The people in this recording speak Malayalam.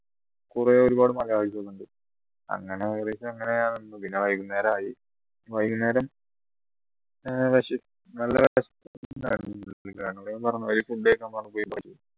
കുറെ ഒരുപാട് malayalees ണ്ട് അങ്ങനെ ഏകദേശം അങ്ങനെ പിന്നെ വൈകുന്നേരം ആയി വൈകുന്നേരം